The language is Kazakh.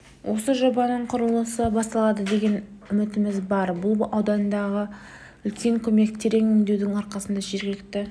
осы жобаның құрылысы басталады деген үмітіміз бар бұл ауданға үлкен көмек терең өңдеудің арқасында жергілікті